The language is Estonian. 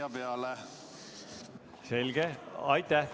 Aitäh!